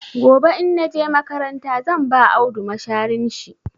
Gobe in na je makaranta zan ba Audu masharin shi.